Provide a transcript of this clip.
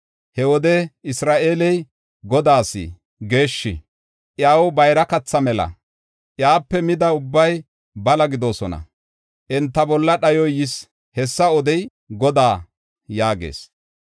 He wode Isra7eeley Godaas geeshshi; iyaw bayra katha mela. Iyape mida ubbay bala gidoosona; enta bolla dhayoy yis. Hessa odey Godaa” yaagees.